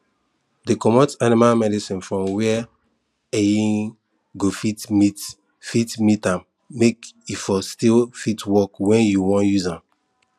dey comot animal medicine from where[um]go fit meet fit meet am make e for still fit work when you wan use am